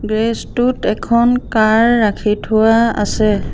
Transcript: Garage টোত এখন car ৰাখি থোৱা আছে।